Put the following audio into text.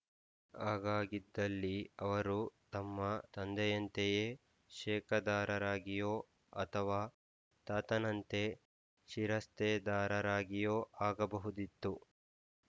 ಹಾಗಾಗಿದ್ದಲ್ಲಿ ಅವರು ತಮ್ಮ ತಂದೆಯಂತೆಯೇ ಶೇಕದಾರರಾಗಿಯೋ ಅಥವಾ ತಾತನಂತೆ ಶಿರಸ್ತೇದಾರರಾಗಿಯೋ ಆಗಬಹುದಿತ್ತು